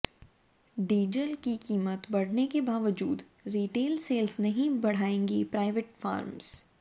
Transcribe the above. diesel की कीमत बढ़ने के बावजूद रीटेल सेल्स नहीं बढ़ाएंगी प्राइवेट फर्म्स